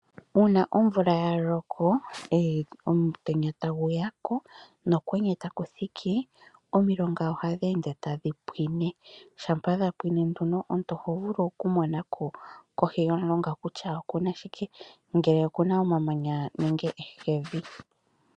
Uuna omvula ya loko, omutenya tagu ya ko nokwenye taku thiki, omilonga ohadhi ende tadhi pwine. Shampa dha pwine nduno omuntu oho vulu okumona kutya kohi yomulonga oku na shike, ngele oku na omamanya nenge ehekevi.